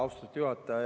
Austatud juhataja!